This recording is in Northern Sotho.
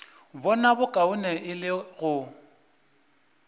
bona bokaone e le go